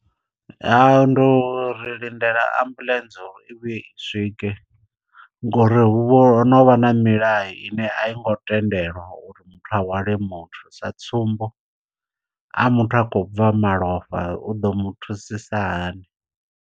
Ha ndi ri lindela ambuḽentse uri i vhuye i swike ngori hu vha ho no vha na milayo ine a i ngo tendelwa uri muthu a hwale muthu. Sa tsumbo a muthu a khou bva malofha u ḓo mu thusisa hani.